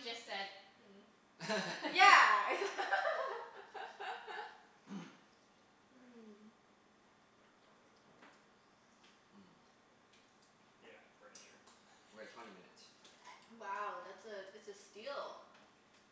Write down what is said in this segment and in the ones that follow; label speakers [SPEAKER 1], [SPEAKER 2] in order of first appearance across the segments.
[SPEAKER 1] would have just said
[SPEAKER 2] Yeah.
[SPEAKER 3] Mmm.
[SPEAKER 4] Yeah, furniture.
[SPEAKER 3] We're at twenty minutes.
[SPEAKER 2] Wow, that's a, it's a steal.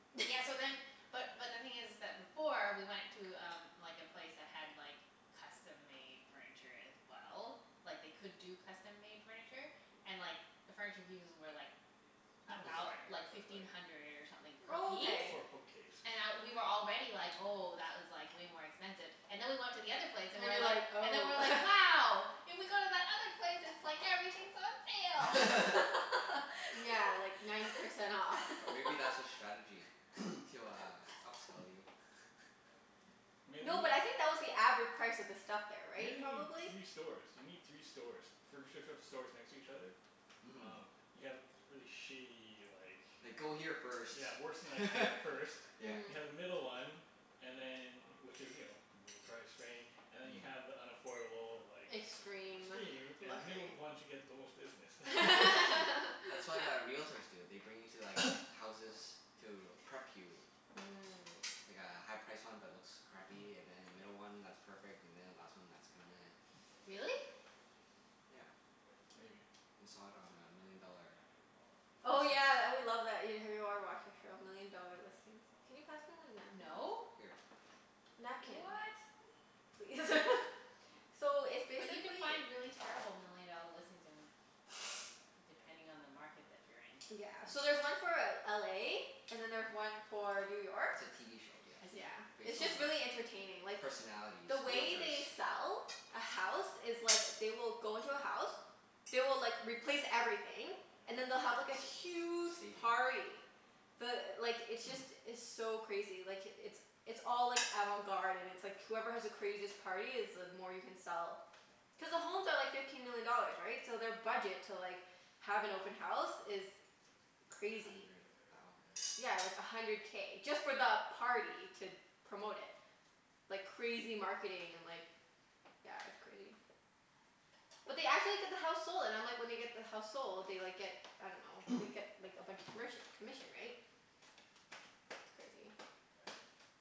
[SPEAKER 1] Yeah, so then, but but the thing is is that before we went to um like a place that had like custom-made furniture as well. Like they could do custom-made furniture, and like the furniture pieces were like
[SPEAKER 4] Not
[SPEAKER 1] a thou-
[SPEAKER 4] designer,
[SPEAKER 1] like
[SPEAKER 4] but like
[SPEAKER 1] fifteen hundred or something
[SPEAKER 2] Oh,
[SPEAKER 1] per
[SPEAKER 2] okay.
[SPEAKER 4] For a
[SPEAKER 1] piece.
[SPEAKER 4] bookcase.
[SPEAKER 1] And I, we were already like, "Oh, that was like way more expensive." And then we went to the other
[SPEAKER 2] And you're
[SPEAKER 1] place and
[SPEAKER 2] like,
[SPEAKER 1] we were
[SPEAKER 2] "Oh."
[SPEAKER 1] like and then we were like, "Wow!" If we go to that
[SPEAKER 2] Yeah,
[SPEAKER 1] other
[SPEAKER 2] like ninety
[SPEAKER 1] place
[SPEAKER 2] percent off.
[SPEAKER 3] Or
[SPEAKER 1] it's
[SPEAKER 3] maybe that's their
[SPEAKER 1] like
[SPEAKER 3] strategy
[SPEAKER 1] everything's
[SPEAKER 3] to uh
[SPEAKER 1] on
[SPEAKER 3] upsell you?
[SPEAKER 1] sale.
[SPEAKER 4] Maybe.
[SPEAKER 2] No, but I think that was the average price of the stuff there, right?
[SPEAKER 4] Maybe you need
[SPEAKER 2] Probably?
[SPEAKER 4] three stores? You need three stores. Furniture sh- stores next to each other?
[SPEAKER 3] Mhm.
[SPEAKER 4] Oh, you have really shitty like
[SPEAKER 3] Like go here first,
[SPEAKER 4] Yeah, worse than IKEA first.
[SPEAKER 3] yeah.
[SPEAKER 4] You
[SPEAKER 2] Mhm.
[SPEAKER 4] have the middle one And then, which is you know, middle price rain And then you have the unaffordable like
[SPEAKER 2] Extreme.
[SPEAKER 4] Extreme. And the middle
[SPEAKER 2] Luxury.
[SPEAKER 4] one to get the most business.
[SPEAKER 3] That's what uh realtors do. They bring you to like houses to prep you.
[SPEAKER 2] Mm.
[SPEAKER 3] Like a high-priced one but looks crappy, and then a middle one that's perfect, and then a last one that's kind of
[SPEAKER 1] Really?
[SPEAKER 3] Yeah.
[SPEAKER 4] Maybe.
[SPEAKER 3] We saw it on uh Million Dollar
[SPEAKER 2] Oh
[SPEAKER 3] Listings.
[SPEAKER 2] yeah, tha- we love that, have you ever watched that show? Million Dollar Listings. Can you pass me one napkin,
[SPEAKER 1] No.
[SPEAKER 2] please?
[SPEAKER 3] Here.
[SPEAKER 1] What?
[SPEAKER 2] Napkin please. So, it's
[SPEAKER 1] But you can
[SPEAKER 2] basically
[SPEAKER 1] find really terrible million dollar listings in, depending on the market that you're in.
[SPEAKER 2] Yeah. So there's one for L- LA and then there's one for New York.
[SPEAKER 3] It's a TV show, yeah.
[SPEAKER 1] I
[SPEAKER 2] Yeah.
[SPEAKER 1] see.
[SPEAKER 3] Based
[SPEAKER 2] It's
[SPEAKER 3] on
[SPEAKER 2] just really entertaining.
[SPEAKER 3] uh
[SPEAKER 2] Like
[SPEAKER 3] personalities.
[SPEAKER 2] The way
[SPEAKER 3] Realtors.
[SPEAKER 2] they sell a house is like, they will go into a house. They will like, replace everything, and then they'll have like a huge
[SPEAKER 3] Staging.
[SPEAKER 2] party. The, like, it's just, it's so crazy. Like, it's it's all like avant-garde and it's like whoever has the craziest party is the more you can sell. Cuz the homes are like fifteen million dollars, right? So their budget to like, have an open house is
[SPEAKER 3] A
[SPEAKER 2] crazy.
[SPEAKER 3] hundred thousand.
[SPEAKER 2] Yeah, like a hundred K, just for the party to promote it. Like crazy marketing and like yeah, it's crazy. But they actually get the house sold, and I'm like, when they get the house sold they like get, I dunno, they get like a bunch of commerc- commission, right? It's crazy.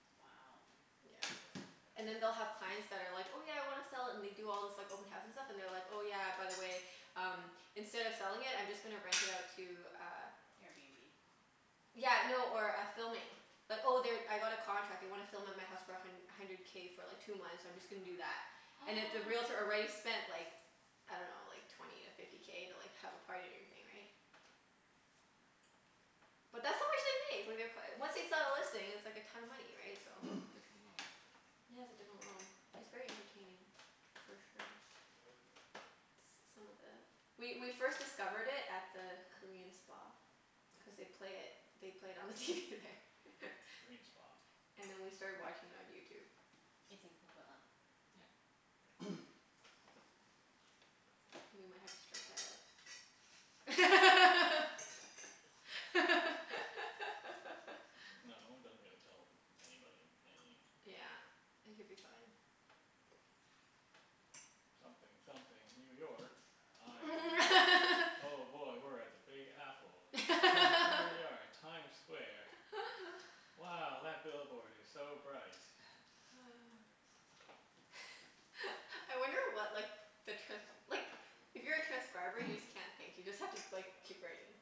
[SPEAKER 1] Wow.
[SPEAKER 2] Yeah. And then they'll have clients that are like, "Oh yeah, I wanna sell it," and they do all this like open house and stuff, and they're like, "Oh yeah, by the way, um instead of selling it I'm just gonna rent it out to uh"
[SPEAKER 1] Airbnb?
[SPEAKER 2] Yeah, no, or a filming. Like, "Oh they, I got a contract. They wanna film at my house for a hun- hundred K for like two months. I'm just gonna do that." And if the realtor already spent like, I dunno, like twenty to fifty K to like have a party and everything, right? But that's how much they make. Like they're c- once they sell a listing it's like a ton of money, right? So
[SPEAKER 3] Different world.
[SPEAKER 2] Yeah, it's a different world. It's very entertaining for sure. S- some of the, we we first discovered it at the Korean spa. Cuz
[SPEAKER 3] Mhm, yes.
[SPEAKER 2] they'd play it, they played it on the TV there.
[SPEAKER 4] Korean spa?
[SPEAKER 2] And then we started watching it on YouTube.
[SPEAKER 1] It's in Coquitlam.
[SPEAKER 3] Yep.
[SPEAKER 2] We might have to strike that out.
[SPEAKER 4] No, it doesn't really tell anybody any thing.
[SPEAKER 2] Yeah. It could be fine.
[SPEAKER 4] Something something New York. I'm, oh boy, we're at the Big Apple. H- here we are at Times Square. Wow, that billboard is so bright.
[SPEAKER 2] I wonder what like the trans- like, if you're a transcriber you just can't think. You just have to like keep writing.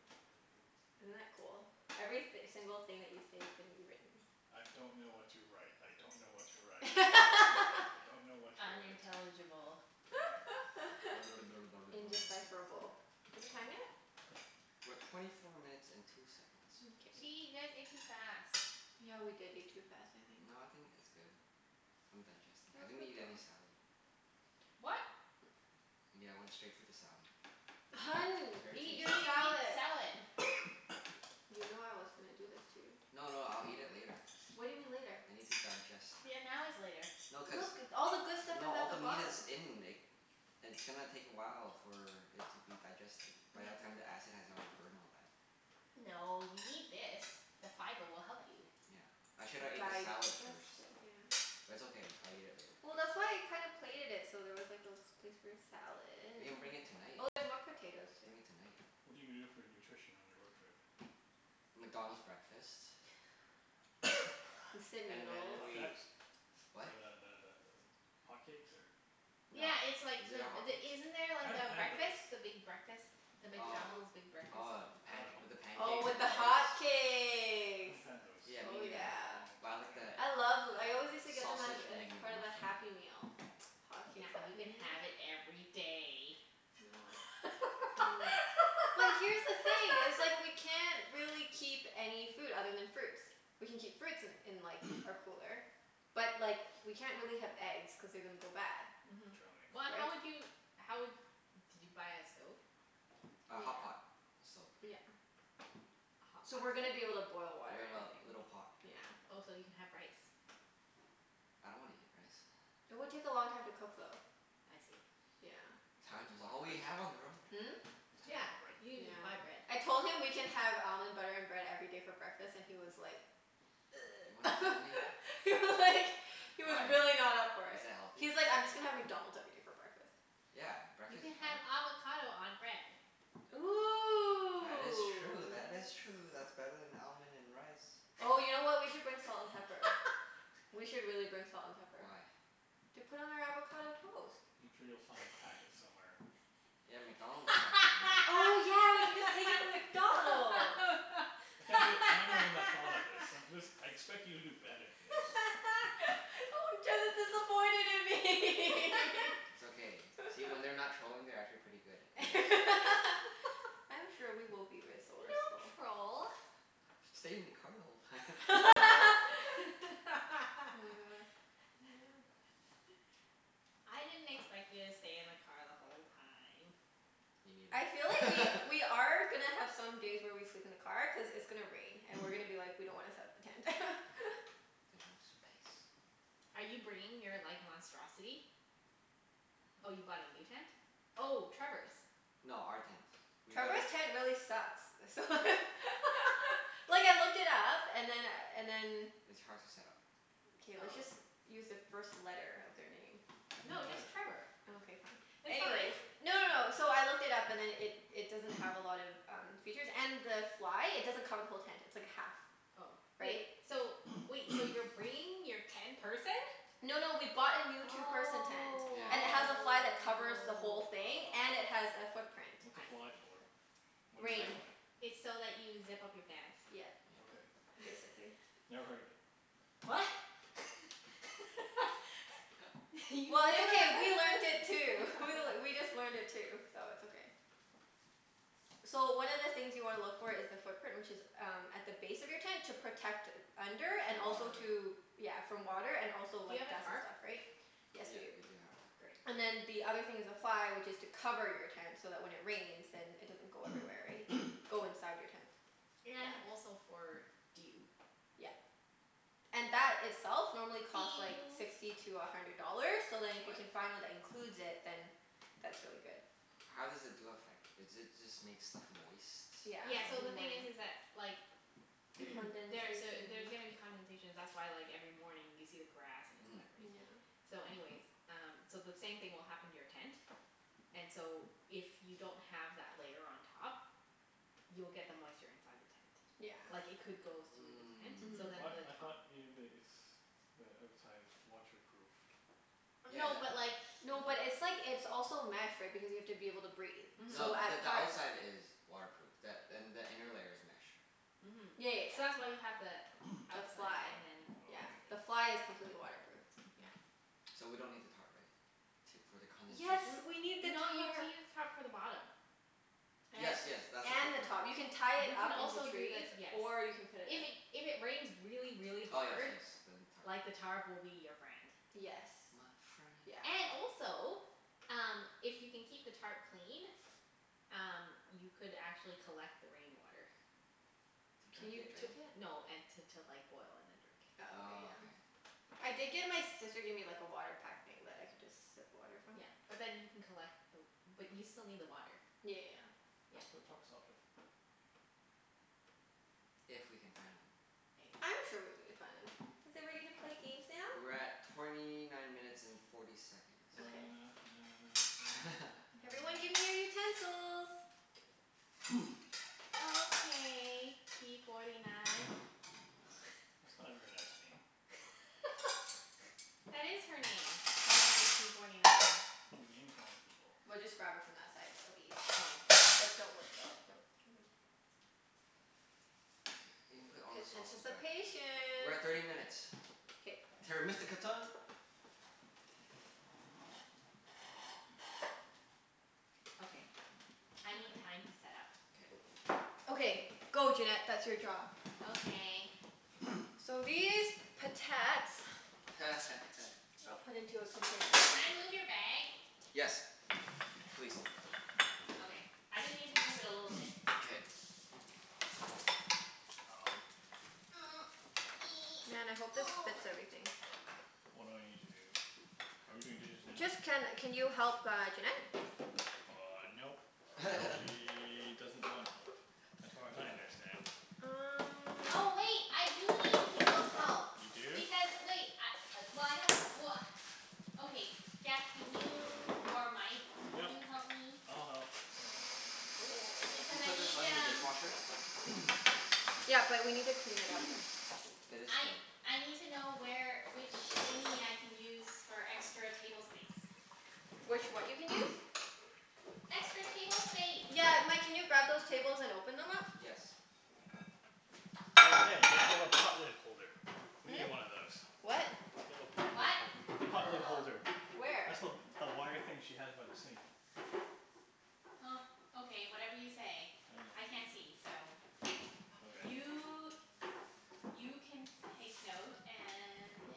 [SPEAKER 2] Isn't that cool? Every th- single thing that you say is gonna be written.
[SPEAKER 4] I don't know what to write. I don't know what to write. I don't know what to write. I don't know what to write.
[SPEAKER 1] Unintelligible.
[SPEAKER 2] Indecipherable. Is it time yet?
[SPEAKER 3] We're twenty four minutes and two seconds.
[SPEAKER 1] Gee,
[SPEAKER 2] Mkay.
[SPEAKER 1] you guys ate too fast.
[SPEAKER 2] Yeah, we did eat too fast, I think.
[SPEAKER 3] No, I think it's good. I'm digesting.
[SPEAKER 2] That
[SPEAKER 3] I
[SPEAKER 2] was
[SPEAKER 3] didn't
[SPEAKER 2] quick
[SPEAKER 3] eat any
[SPEAKER 2] though.
[SPEAKER 3] salad.
[SPEAKER 1] What?
[SPEAKER 3] Yeah, I went straight for the salmon. It was
[SPEAKER 2] Hun,
[SPEAKER 3] very
[SPEAKER 2] eat
[SPEAKER 3] tasty.
[SPEAKER 2] your
[SPEAKER 1] You need to
[SPEAKER 2] salad.
[SPEAKER 1] eat salad.
[SPEAKER 2] You know I was gonna do this to you.
[SPEAKER 3] No, no, I'll eat it later.
[SPEAKER 2] What do you mean, later?
[SPEAKER 3] I need to digest.
[SPEAKER 1] Yeah, now is later.
[SPEAKER 3] No
[SPEAKER 2] Look.
[SPEAKER 3] cuz,
[SPEAKER 2] All the good stuff
[SPEAKER 3] no
[SPEAKER 2] is
[SPEAKER 3] all
[SPEAKER 2] at the
[SPEAKER 3] the meat
[SPEAKER 2] bottom.
[SPEAKER 3] is in It's gonna take a while for it to be digested. By that time the acid has already burned all that.
[SPEAKER 1] No, you need this. The fiber will help you.
[SPEAKER 3] Yeah. I shoulda ate the salad
[SPEAKER 2] Digest
[SPEAKER 3] first.
[SPEAKER 2] it, yeah.
[SPEAKER 3] But it's okay. I'll eat it later.
[SPEAKER 2] Well, that's why I kinda plated it so there was like a place for your salad.
[SPEAKER 3] We can bring it tonight.
[SPEAKER 2] Oh, there's more potatoes, too.
[SPEAKER 3] Bring it tonight.
[SPEAKER 4] What are you gonna do for nutrition on your road trip?
[SPEAKER 3] McDonald's breakfast.
[SPEAKER 2] Instant
[SPEAKER 3] And then
[SPEAKER 2] noodles.
[SPEAKER 3] we,
[SPEAKER 4] Flapjacks?
[SPEAKER 3] what?
[SPEAKER 4] Or the the the th- hotcakes or
[SPEAKER 3] No.
[SPEAKER 1] Yeah it's like,
[SPEAKER 3] Is it a
[SPEAKER 1] the the,
[SPEAKER 3] hotcakes?
[SPEAKER 1] isn't there a
[SPEAKER 4] I haven't had those.
[SPEAKER 1] breakfast? The big breakfast? The
[SPEAKER 3] Oh.
[SPEAKER 1] McDonald's big breakfast?
[SPEAKER 3] Oh the
[SPEAKER 4] I
[SPEAKER 3] panc-
[SPEAKER 4] dunno.
[SPEAKER 3] with the
[SPEAKER 2] Oh,
[SPEAKER 3] pancakes
[SPEAKER 2] with
[SPEAKER 3] and the
[SPEAKER 2] the
[SPEAKER 3] eggs?
[SPEAKER 4] I
[SPEAKER 2] hotcakes.
[SPEAKER 4] haven't had those for
[SPEAKER 3] Yeah, me
[SPEAKER 2] Oh
[SPEAKER 3] neither.
[SPEAKER 4] a
[SPEAKER 2] yeah.
[SPEAKER 4] long
[SPEAKER 3] Buy like the
[SPEAKER 4] time.
[SPEAKER 2] I love th- I always used to get them as
[SPEAKER 3] sausage and
[SPEAKER 2] as
[SPEAKER 3] egg
[SPEAKER 2] part of the
[SPEAKER 3] McMuffin.
[SPEAKER 2] Happy Meal. Hotcakes
[SPEAKER 1] Now you
[SPEAKER 2] Happy
[SPEAKER 1] can
[SPEAKER 2] Meal.
[SPEAKER 1] have it every day.
[SPEAKER 2] No. Mm. But here's the thing, it's like we can't really keep any food other than fruits. We can keep fruits in in like, our cooler. But, like, we can't really have eggs cuz they're gonna go bad.
[SPEAKER 1] Mhm.
[SPEAKER 4] Trail mix.
[SPEAKER 1] But
[SPEAKER 2] Right?
[SPEAKER 1] how would you, how would, did you buy a stove?
[SPEAKER 3] A
[SPEAKER 2] Yeah.
[SPEAKER 3] hotpot stove.
[SPEAKER 2] Yeah.
[SPEAKER 1] A hot
[SPEAKER 2] So
[SPEAKER 1] pot
[SPEAKER 2] we're gonna be able to
[SPEAKER 1] stove?
[SPEAKER 2] boil water
[SPEAKER 3] We
[SPEAKER 2] and
[SPEAKER 3] have a
[SPEAKER 2] everything.
[SPEAKER 3] little pot.
[SPEAKER 2] Yeah.
[SPEAKER 1] Oh, so you can have rice.
[SPEAKER 3] I don't wanna eat rice.
[SPEAKER 2] It would take a long time to cook, though.
[SPEAKER 1] I see.
[SPEAKER 2] Yeah.
[SPEAKER 4] You'll have
[SPEAKER 3] Time
[SPEAKER 4] to
[SPEAKER 3] is
[SPEAKER 4] buy
[SPEAKER 3] all we
[SPEAKER 4] bread.
[SPEAKER 3] have on the road.
[SPEAKER 2] Hmm?
[SPEAKER 4] You still need
[SPEAKER 1] Yeah,
[SPEAKER 4] buy
[SPEAKER 1] you
[SPEAKER 4] bread.
[SPEAKER 1] can
[SPEAKER 2] Yeah.
[SPEAKER 1] j- buy bread.
[SPEAKER 2] I told him we can have almond butter and bread every day for breakfast and he was like
[SPEAKER 3] You wanna kill me?
[SPEAKER 2] He was like He was
[SPEAKER 3] Why,
[SPEAKER 2] really not up for
[SPEAKER 3] is
[SPEAKER 2] it.
[SPEAKER 3] that healthy?
[SPEAKER 2] He was like, "I'm just gonna have McDonald's every day for breakfast."
[SPEAKER 3] Yeah,
[SPEAKER 1] You
[SPEAKER 3] breakfast
[SPEAKER 1] can
[SPEAKER 3] is fine.
[SPEAKER 1] have avocado on bread.
[SPEAKER 3] That
[SPEAKER 2] Ooh,
[SPEAKER 3] is true. That is true.
[SPEAKER 2] yes.
[SPEAKER 3] That's better than almond and rice.
[SPEAKER 2] Oh you know what? We could bring salt and pepper. We should really bring salt and pepper.
[SPEAKER 3] Why?
[SPEAKER 2] To put on our avocado toast.
[SPEAKER 4] I'm sure you'll find packets somewhere.
[SPEAKER 3] Yeah, McDonald's packet, you know?
[SPEAKER 2] Oh yeah, we can just take it from McDonald's.
[SPEAKER 4] I can't believe I'm the one that thought of this. I- this, I expect you to do better than this.
[SPEAKER 2] Oh, Jeff is disappointed in me.
[SPEAKER 3] It's okay. See? When they're not trolling they're actually pretty good and nice.
[SPEAKER 2] I'm sure we will be
[SPEAKER 1] We
[SPEAKER 2] resourceful.
[SPEAKER 1] don't troll.
[SPEAKER 3] "Stayed in the car the whole time."
[SPEAKER 2] Oh my god, yeah.
[SPEAKER 1] I didn't expect you to stay in the car the whole time.
[SPEAKER 3] Me
[SPEAKER 2] I feel like we
[SPEAKER 3] neither.
[SPEAKER 2] we are gonna have some days where we sleep in the car, cuz it's gonna rain and we're gonna be like, "We don't wanna set up the tent."
[SPEAKER 3] There's no space.
[SPEAKER 1] Are you bringing your like monstrosity? Oh, you bought a new tent? Oh, Trevor's.
[SPEAKER 3] No, our tent. We gotta
[SPEAKER 2] Trevor's tent really sucks. So Like, I looked it up and then and then
[SPEAKER 3] It's hard to set up.
[SPEAKER 2] K, let's just
[SPEAKER 1] Oh.
[SPEAKER 2] use the first
[SPEAKER 1] No,
[SPEAKER 2] letter of their name.
[SPEAKER 1] just
[SPEAKER 4] It don't matter.
[SPEAKER 1] Trevor.
[SPEAKER 2] Okay, fine.
[SPEAKER 1] It's
[SPEAKER 2] Anyways
[SPEAKER 1] fine.
[SPEAKER 2] No, no, no. So I looked it up and then it it doesn't have a lot of um features. And the fly, it doesn't cover the whole tent. It's like a half
[SPEAKER 1] Oh. Wait,
[SPEAKER 2] Right?
[SPEAKER 1] so wait. So you're bringing your ten-person?
[SPEAKER 2] No, no, we bought a new
[SPEAKER 1] Oh.
[SPEAKER 2] two-person tent. And it has a
[SPEAKER 3] Yeah
[SPEAKER 2] fly that covers the whole thing. And it has a footprint.
[SPEAKER 4] What's a fly
[SPEAKER 1] I see.
[SPEAKER 4] for? What is a
[SPEAKER 2] Rain.
[SPEAKER 3] Tighten.
[SPEAKER 4] fly?
[SPEAKER 1] It's so that you zip up your pants.
[SPEAKER 2] Yeah.
[SPEAKER 3] Yep.
[SPEAKER 4] Okay.
[SPEAKER 2] Basically.
[SPEAKER 4] Never heard of it.
[SPEAKER 1] What? You've never
[SPEAKER 2] Well, it's okay. We learnt it too. We
[SPEAKER 1] heard
[SPEAKER 2] just learned it too, so it's okay. So, one of the things you wanna look for is the footprint, which is um at the base of your tent to protect under, and
[SPEAKER 3] The
[SPEAKER 2] also
[SPEAKER 3] water.
[SPEAKER 2] to Yeah, from water and also
[SPEAKER 1] Do you
[SPEAKER 2] like
[SPEAKER 1] have a
[SPEAKER 2] dust and
[SPEAKER 1] tarp?
[SPEAKER 2] stuff, right? Yes, we do.
[SPEAKER 3] Yep, we do have a tarp.
[SPEAKER 1] Great.
[SPEAKER 2] And then the other thing is the fly which is to cover your tent, so that when it rains then it doesn't go everywhere, right? Go inside your tent.
[SPEAKER 1] And
[SPEAKER 2] Yeah.
[SPEAKER 1] also for dew.
[SPEAKER 2] Yeah. And that itself normally costs like
[SPEAKER 1] Dew.
[SPEAKER 2] sixty to a hundred dollars, so then if you
[SPEAKER 3] What?
[SPEAKER 2] can find one that includes it, then that's really good.
[SPEAKER 3] How does the dew affect? Is it just make stuff moist from
[SPEAKER 2] Yeah,
[SPEAKER 1] Yeah, so
[SPEAKER 2] in the
[SPEAKER 1] the thing is
[SPEAKER 2] morning.
[SPEAKER 1] is that like there's a,
[SPEAKER 2] Condensation.
[SPEAKER 1] there's gonna be condensation. That's why like every morning you see the grass and it's
[SPEAKER 3] Mhm.
[SPEAKER 1] wet, right?
[SPEAKER 2] Yeah.
[SPEAKER 1] So anyways, um so the same thing will happen to your tent and so if you don't have that layer on top you'll get the moisture inside the tent.
[SPEAKER 2] Yeah.
[SPEAKER 1] Like it could go though the tent so
[SPEAKER 4] What?
[SPEAKER 2] Mhm.
[SPEAKER 1] then
[SPEAKER 4] I
[SPEAKER 1] the
[SPEAKER 4] thought
[SPEAKER 1] top
[SPEAKER 3] Mm.
[SPEAKER 4] ev- it's the outside is waterproof.
[SPEAKER 1] No, but
[SPEAKER 3] Yeah,
[SPEAKER 1] like
[SPEAKER 3] that th-
[SPEAKER 2] No, but it's like, it's also mesh right, because you have to be able to breathe. So
[SPEAKER 3] No,
[SPEAKER 1] Mhm.
[SPEAKER 3] the
[SPEAKER 2] at
[SPEAKER 3] the
[SPEAKER 2] parts
[SPEAKER 3] outside is waterproof, th- and the inner layer is mesh.
[SPEAKER 1] Mhm.
[SPEAKER 2] Yeah, yeah,
[SPEAKER 1] So
[SPEAKER 2] yeah.
[SPEAKER 1] that's why you have the
[SPEAKER 2] The
[SPEAKER 4] The
[SPEAKER 1] outside
[SPEAKER 4] fly?
[SPEAKER 2] fly.
[SPEAKER 1] and then
[SPEAKER 2] Yeah.
[SPEAKER 1] this
[SPEAKER 4] Oh,
[SPEAKER 2] The
[SPEAKER 4] okay.
[SPEAKER 1] thing.
[SPEAKER 2] fly is completely waterproof. Yeah.
[SPEAKER 1] Mhm.
[SPEAKER 3] So we don't need the tarp, right? T- for the
[SPEAKER 2] Yes,
[SPEAKER 3] condensation?
[SPEAKER 2] we need the
[SPEAKER 1] N- no you need to
[SPEAKER 2] tarp.
[SPEAKER 1] use tarp for the bottom.
[SPEAKER 3] Yes, yes, that's the
[SPEAKER 2] And the
[SPEAKER 3] footprint.
[SPEAKER 2] top. You can tie it up
[SPEAKER 1] You
[SPEAKER 2] into
[SPEAKER 1] can also
[SPEAKER 2] trees,
[SPEAKER 1] do the,
[SPEAKER 2] or
[SPEAKER 1] yes.
[SPEAKER 2] you can put it
[SPEAKER 1] If it, if it rains really,
[SPEAKER 3] Oh
[SPEAKER 1] really
[SPEAKER 3] yes,
[SPEAKER 1] hard
[SPEAKER 3] yes, then tarp.
[SPEAKER 1] like the tarp will be your friend.
[SPEAKER 2] Yes.
[SPEAKER 3] My friend.
[SPEAKER 2] Yeah.
[SPEAKER 1] And also, um if you can keep the tarp clean um you could actually collect the rain water.
[SPEAKER 3] To
[SPEAKER 2] Can
[SPEAKER 3] drink
[SPEAKER 2] you
[SPEAKER 3] it?
[SPEAKER 2] drink it?
[SPEAKER 1] No, and t- to like boil and then drink.
[SPEAKER 2] Oh, okay,
[SPEAKER 3] Oh,
[SPEAKER 2] yeah.
[SPEAKER 3] okay.
[SPEAKER 2] I did get, my sister gave me like a water pack thing that I could just sip water from.
[SPEAKER 1] Yeah. But then you can collect the w- but you still
[SPEAKER 2] Yeah, yeah,
[SPEAKER 1] need
[SPEAKER 2] yeah.
[SPEAKER 1] the water.
[SPEAKER 4] That's
[SPEAKER 1] Yeah.
[SPEAKER 4] what truck stops are for.
[SPEAKER 3] If we can find them.
[SPEAKER 1] Maybe.
[SPEAKER 2] I'm sure we'll be able to find them. Are
[SPEAKER 1] Is
[SPEAKER 2] we
[SPEAKER 1] it
[SPEAKER 2] ready to
[SPEAKER 1] ready
[SPEAKER 2] play
[SPEAKER 1] to
[SPEAKER 2] games
[SPEAKER 1] play
[SPEAKER 2] now?
[SPEAKER 1] games
[SPEAKER 3] We're
[SPEAKER 1] now?
[SPEAKER 3] at torny nine minutes and forty seconds.
[SPEAKER 4] Na na
[SPEAKER 2] Okay.
[SPEAKER 4] na. Na na na. Na na na. Na
[SPEAKER 2] Everyone
[SPEAKER 4] na
[SPEAKER 2] give me your
[SPEAKER 4] na.
[SPEAKER 2] utensils.
[SPEAKER 1] Okay p forty nine.
[SPEAKER 4] That's not a very nice name.
[SPEAKER 1] That is her name. Her name is p forty nine.
[SPEAKER 4] You're name-calling people.
[SPEAKER 2] We'll just grab it from that side and it'll be easier. But don't worry about it, don't
[SPEAKER 3] Okay. You can
[SPEAKER 2] P-
[SPEAKER 3] put all the
[SPEAKER 2] p-
[SPEAKER 3] sauces back.
[SPEAKER 2] anticipation.
[SPEAKER 3] We're at thirty minutes.
[SPEAKER 2] K.
[SPEAKER 3] Terra Mystica time.
[SPEAKER 1] Okay, I need
[SPEAKER 2] Okay.
[SPEAKER 1] time to set up.
[SPEAKER 3] K.
[SPEAKER 2] Okay. Go Junette. That's your job.
[SPEAKER 1] Okay.
[SPEAKER 2] So these potats I'll put into a container.
[SPEAKER 1] Can I move your bag?
[SPEAKER 3] Yes. Please.
[SPEAKER 1] Okay, I just need to move it a little bit.
[SPEAKER 3] K.
[SPEAKER 4] Um.
[SPEAKER 2] Man, I hope this fits everything.
[SPEAKER 4] What do I need to do? Are we doing dishes now?
[SPEAKER 2] Just, can can you help uh Junette?
[SPEAKER 4] Uh, nope.
[SPEAKER 2] Nope.
[SPEAKER 4] She doesn't want help, as far as I understand.
[SPEAKER 2] Um
[SPEAKER 1] Oh wait, I do need people's help.
[SPEAKER 4] You do?
[SPEAKER 1] Because wait, I, well I don't, well Okay, Jeff can you, or Mike can
[SPEAKER 4] Yep.
[SPEAKER 1] you help me?
[SPEAKER 4] I'll help. Hold on.
[SPEAKER 3] Oh, do we
[SPEAKER 1] Cuz I
[SPEAKER 3] put this
[SPEAKER 1] need
[SPEAKER 3] on the
[SPEAKER 1] um
[SPEAKER 3] dishwasher?
[SPEAKER 2] Yeah, but we need to clean it out first.
[SPEAKER 3] It is
[SPEAKER 1] I
[SPEAKER 3] clean.
[SPEAKER 1] I need to know where, which thingie I can use for extra table space.
[SPEAKER 2] Which what you can use?
[SPEAKER 1] Extra table space.
[SPEAKER 3] Got
[SPEAKER 2] Yeah,
[SPEAKER 3] it.
[SPEAKER 2] Mike, can you grab those tables and open them up?
[SPEAKER 3] Yes.
[SPEAKER 4] Oh hey, you have a pot lid holder. We
[SPEAKER 2] Hmm?
[SPEAKER 4] need one of those.
[SPEAKER 2] What?
[SPEAKER 4] You have a pot lid
[SPEAKER 1] What?
[SPEAKER 4] holder. Pot lid holder.
[SPEAKER 1] Where?
[SPEAKER 2] Where?
[SPEAKER 4] That's the w- the wire thing she has by the sink.
[SPEAKER 1] Huh. Okay, whatever you say. I can't see, so
[SPEAKER 4] Okay.
[SPEAKER 1] You you can take note and yeah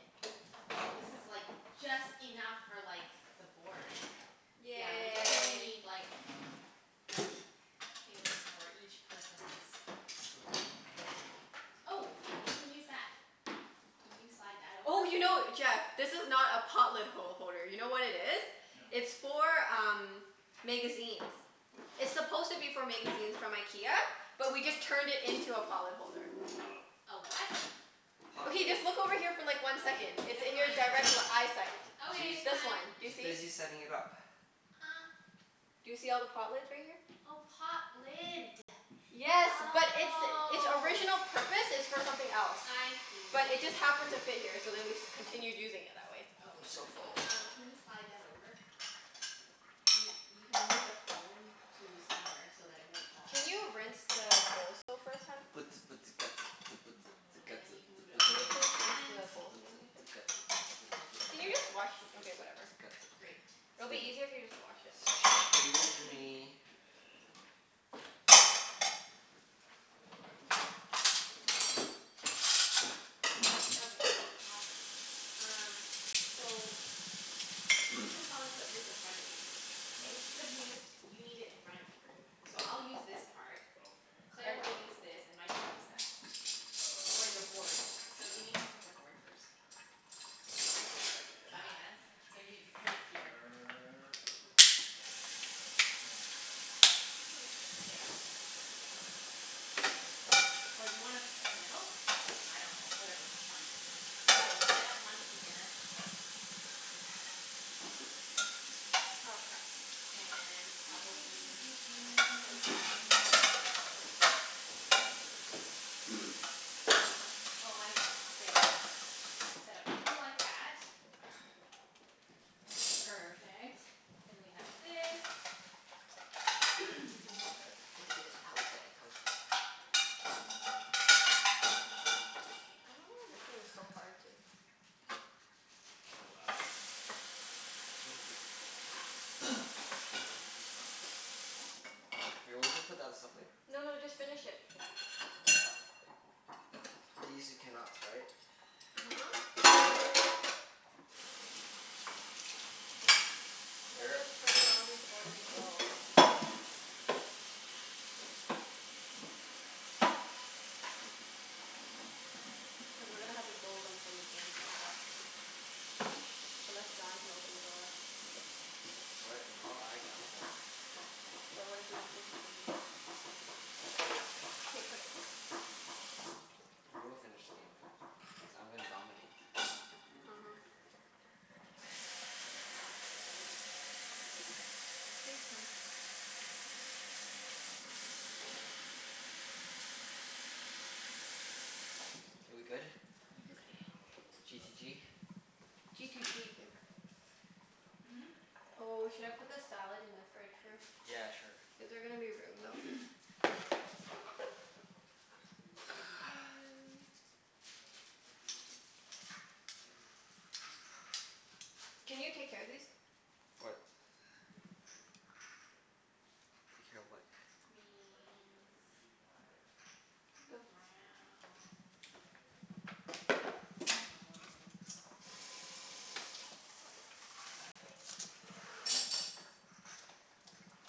[SPEAKER 1] Oh, this is like just enough for like the board. Yeah, we
[SPEAKER 4] Okay.
[SPEAKER 1] definitely
[SPEAKER 2] Yay.
[SPEAKER 1] need like things for each person's
[SPEAKER 4] It's okay. We'll manage.
[SPEAKER 1] Oh, we can use that. Can you slide that over?
[SPEAKER 2] Oh, you know, Jeff? This is not a pot lid ho- holder. You know what it is?
[SPEAKER 4] No.
[SPEAKER 2] It's for um magazines. It's supposed to be for magazines from IKEA.
[SPEAKER 4] Oh.
[SPEAKER 2] But we just turned it into a pot lid holder.
[SPEAKER 4] Oh.
[SPEAKER 1] A what?
[SPEAKER 3] Pot
[SPEAKER 2] Okay,
[SPEAKER 3] lid.
[SPEAKER 2] just look over here for like one
[SPEAKER 1] Okay,
[SPEAKER 2] second. It's
[SPEAKER 1] never
[SPEAKER 2] in your
[SPEAKER 1] mind.
[SPEAKER 2] direct l- eyesight.
[SPEAKER 1] Okay,
[SPEAKER 3] She's
[SPEAKER 1] it's
[SPEAKER 2] This
[SPEAKER 1] fine.
[SPEAKER 2] one. Do you
[SPEAKER 3] she's
[SPEAKER 2] see?
[SPEAKER 3] busy setting it up.
[SPEAKER 2] Do you see all the pot lids right here?
[SPEAKER 1] Oh, pot lid.
[SPEAKER 2] Yes, but its its
[SPEAKER 1] Oh.
[SPEAKER 2] original purpose is for something else.
[SPEAKER 1] I see.
[SPEAKER 2] But it just happened to fit here so then we continued using it that way.
[SPEAKER 3] I'm
[SPEAKER 1] Okay.
[SPEAKER 3] so full.
[SPEAKER 1] Um can you slide that over? You you can move the phone to somewhere so that it won't fall.
[SPEAKER 2] Can you rinse the bowls though first, hun?
[SPEAKER 1] And then you can move it over
[SPEAKER 2] Can you
[SPEAKER 1] with the
[SPEAKER 2] please rinse
[SPEAKER 1] plant.
[SPEAKER 2] the bowls and everything first?
[SPEAKER 1] Oh well, sure.
[SPEAKER 2] Can you
[SPEAKER 1] That
[SPEAKER 2] just
[SPEAKER 1] works.
[SPEAKER 2] wash, okay whatever.
[SPEAKER 1] Great.
[SPEAKER 2] It'll be
[SPEAKER 3] 'Scuse
[SPEAKER 2] easier if you
[SPEAKER 3] me.
[SPEAKER 2] just wash it.
[SPEAKER 3] 'Scuse me.
[SPEAKER 4] Surprisingly heavy.
[SPEAKER 1] Okay. Awesome. Um So, you can probably put this in front of you.
[SPEAKER 4] What
[SPEAKER 1] It's because you need i- you need it in front of you. So I'll use this part.
[SPEAKER 4] Okay.
[SPEAKER 1] Claire
[SPEAKER 2] I
[SPEAKER 1] will use this and Mike will use that. For
[SPEAKER 4] Okay.
[SPEAKER 1] your board. So you need to pick a board first. Does that make sense? So
[SPEAKER 4] Okay.
[SPEAKER 1] you put it here.
[SPEAKER 4] Sure. Okay boss.
[SPEAKER 1] There.
[SPEAKER 4] Yes boss. No boss.
[SPEAKER 1] Or do you wanna p- sit in the middle? I
[SPEAKER 4] No.
[SPEAKER 1] dunno. Whatever, fine. Okay, we'll set up one here.
[SPEAKER 2] Oh crap.
[SPEAKER 1] And probably
[SPEAKER 2] That would be difficult.
[SPEAKER 1] Oh, I know. There we go. Set up three like that. Perfect. Then we have this.
[SPEAKER 2] I don't know
[SPEAKER 1] Okay.
[SPEAKER 2] why this thing's so hard to
[SPEAKER 4] Oh, wow. This is good for cult.
[SPEAKER 3] Here, we'll just put that as stuff later.
[SPEAKER 2] No no, just finish it.
[SPEAKER 3] These are cannots, right?
[SPEAKER 2] uh-huh. We'll
[SPEAKER 3] Here.
[SPEAKER 2] just turn it on before we go. Cuz we're gonna have to go from the game to your house. Unless John can open the door.
[SPEAKER 3] What? No, I I'm going.
[SPEAKER 2] But what if we don't finish the game? K, put it.
[SPEAKER 3] We will finish the game, cuz I'm gonna dominate.
[SPEAKER 2] uh-huh.
[SPEAKER 3] Ah.
[SPEAKER 2] Thanks hun.
[SPEAKER 3] K, we good?
[SPEAKER 4] Interesting,
[SPEAKER 2] Okay.
[SPEAKER 4] I don't know what a cultist
[SPEAKER 3] G to
[SPEAKER 4] does.
[SPEAKER 3] g?
[SPEAKER 2] G to g bib.
[SPEAKER 1] Hmm?
[SPEAKER 2] Oh, should I put the salad in the fridge first?
[SPEAKER 3] Yeah, sure.
[SPEAKER 2] Is there gonna be room though?
[SPEAKER 1] Doo dee doo.
[SPEAKER 2] Can you take care of these?
[SPEAKER 3] What? Take care of what?
[SPEAKER 1] Greens. Browns. Yellows. Red. Blacks.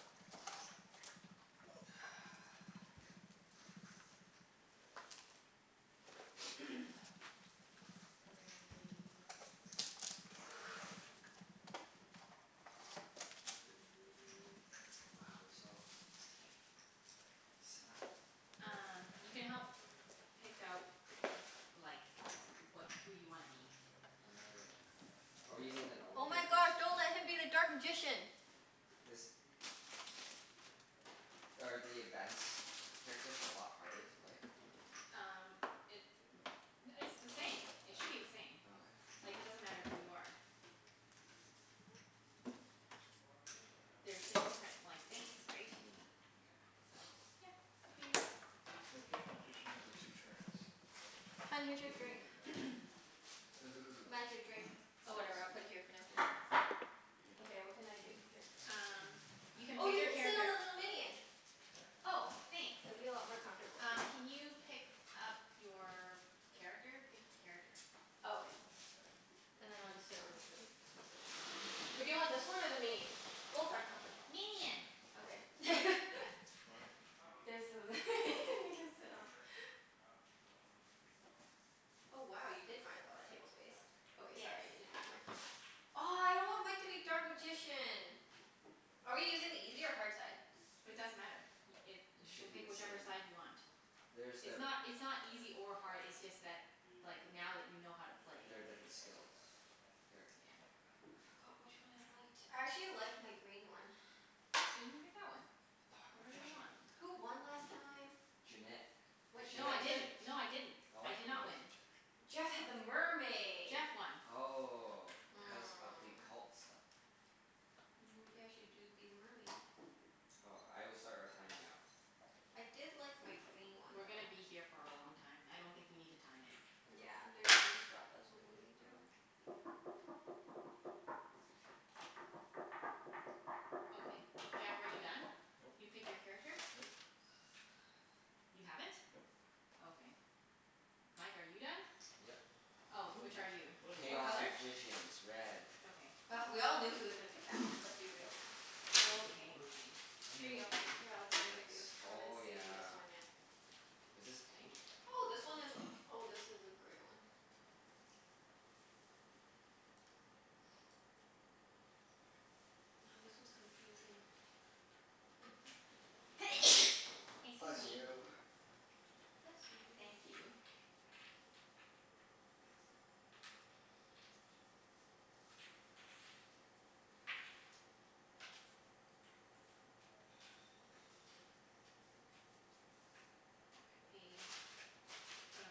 [SPEAKER 1] We go Grays. Blues.
[SPEAKER 3] Wow, we're so set up.
[SPEAKER 1] Um you can help pick out like wha- who you wanna be.
[SPEAKER 3] Are we using the normal
[SPEAKER 2] Oh my
[SPEAKER 3] characters?
[SPEAKER 2] gosh, don't let him be the dark magician.
[SPEAKER 3] This Are the advanced characters a lot harder
[SPEAKER 1] It
[SPEAKER 3] to play?
[SPEAKER 1] Um it it's the same. It
[SPEAKER 3] All
[SPEAKER 1] should be the same.
[SPEAKER 3] right. Okay.
[SPEAKER 1] Like it doesn't matter who you are. There's just different like things, right?
[SPEAKER 3] Mm, mkay.
[SPEAKER 1] So, yeah. Up to you.
[SPEAKER 4] Okay if magician has a two turns. Double
[SPEAKER 2] Hun, here's
[SPEAKER 4] turn.
[SPEAKER 2] your drink.
[SPEAKER 3] Ooh.
[SPEAKER 2] Mike,
[SPEAKER 3] Ooh.
[SPEAKER 2] your drink? Oh, whatever. I'll
[SPEAKER 3] Thanks.
[SPEAKER 2] put it here for now.
[SPEAKER 3] Yeah.
[SPEAKER 2] Okay, what can I do? Here.
[SPEAKER 1] Um you can
[SPEAKER 2] Oh, you
[SPEAKER 1] pick
[SPEAKER 2] can sit
[SPEAKER 1] your
[SPEAKER 2] on the
[SPEAKER 1] character.
[SPEAKER 2] little minion.
[SPEAKER 1] Oh,
[SPEAKER 2] It'll be
[SPEAKER 1] thanks.
[SPEAKER 2] a lot more comfortable. Here.
[SPEAKER 1] Um can you pick up your character? Pick a character.
[SPEAKER 2] Oh, okay. And then I'll just sit on this thing. Or do you want this one or the
[SPEAKER 3] Chinese.
[SPEAKER 2] minion? Both are comfortable.
[SPEAKER 1] Minion.
[SPEAKER 2] Okay.
[SPEAKER 4] What?
[SPEAKER 2] There's
[SPEAKER 4] Oh.
[SPEAKER 2] th- you can sit on. Oh wow, you did find a lotta table space. Okay,
[SPEAKER 1] Yes.
[SPEAKER 2] sorry. I needed the. Oh, I don't want Mike to be dark magician. Are we using the easy or hard side?
[SPEAKER 1] It doesn't matter. Y- it,
[SPEAKER 3] It
[SPEAKER 1] you can
[SPEAKER 3] should be
[SPEAKER 1] pick
[SPEAKER 3] the
[SPEAKER 1] whichever
[SPEAKER 3] same.
[SPEAKER 1] side you want.
[SPEAKER 3] There's
[SPEAKER 1] It's
[SPEAKER 3] the
[SPEAKER 1] not it's not easy or hard, it's just that like now that you know how to play.
[SPEAKER 3] There are different skills. Here.
[SPEAKER 1] Yeah.
[SPEAKER 2] I forgot which one I liked. I actually liked my green one.
[SPEAKER 1] So you pick that one.
[SPEAKER 3] Dark
[SPEAKER 1] Whatever you
[SPEAKER 3] magician.
[SPEAKER 1] want.
[SPEAKER 2] Who won last time?
[SPEAKER 3] Junette.
[SPEAKER 2] What
[SPEAKER 3] Cuz
[SPEAKER 1] What?
[SPEAKER 3] she
[SPEAKER 1] No
[SPEAKER 3] had
[SPEAKER 1] I
[SPEAKER 2] what
[SPEAKER 3] the
[SPEAKER 2] did
[SPEAKER 1] didn't.
[SPEAKER 3] ships.
[SPEAKER 1] No I didn't.
[SPEAKER 3] Oh,
[SPEAKER 1] I
[SPEAKER 3] what?
[SPEAKER 1] did not
[SPEAKER 3] Really?
[SPEAKER 1] win.
[SPEAKER 2] Jeff had the mermaid.
[SPEAKER 1] Jeff won.
[SPEAKER 3] Oh. Cuz of the
[SPEAKER 2] Hmm.
[SPEAKER 3] cult stuff.
[SPEAKER 2] Mm maybe I should do be the mermaid?
[SPEAKER 3] Oh, I will start our time now.
[SPEAKER 2] I did like my green one
[SPEAKER 1] We're
[SPEAKER 2] though.
[SPEAKER 1] gonna be here for a long time. I don't think you need to time it.
[SPEAKER 2] Yeah, they're just gonna stop us when we need to.
[SPEAKER 3] Oh.
[SPEAKER 1] Okay. Jeff, are you done?
[SPEAKER 4] Nope.
[SPEAKER 1] You pick your character?
[SPEAKER 4] Nope.
[SPEAKER 1] You haven't?
[SPEAKER 4] Nope.
[SPEAKER 1] Okay. Mike, are you done?
[SPEAKER 3] Yep.
[SPEAKER 1] Oh. Which are you? What
[SPEAKER 3] Chaos
[SPEAKER 1] color?
[SPEAKER 3] Magicians. Red.
[SPEAKER 1] Okay.
[SPEAKER 2] Oh we all knew he was gonna pick that one. Let's be real now.
[SPEAKER 4] I
[SPEAKER 1] Okay, fine.
[SPEAKER 4] don't
[SPEAKER 1] Here
[SPEAKER 4] even know
[SPEAKER 1] you
[SPEAKER 4] what
[SPEAKER 1] go.
[SPEAKER 4] this
[SPEAKER 2] Here, I'll
[SPEAKER 4] is.
[SPEAKER 2] trade with you.
[SPEAKER 3] Thanks.
[SPEAKER 2] I haven't
[SPEAKER 3] Oh
[SPEAKER 2] seen this
[SPEAKER 3] yeah.
[SPEAKER 2] one yet.
[SPEAKER 3] Was this pink?
[SPEAKER 2] Oh, this one is, oh, this is a gray one. Oh, this one's confusing.
[SPEAKER 1] Excuse
[SPEAKER 3] Bless
[SPEAKER 1] me.
[SPEAKER 3] you.
[SPEAKER 2] Bless you.
[SPEAKER 1] Thank you. Okay, um